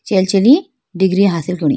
चेल चनि डिग्री हासिल कोनी।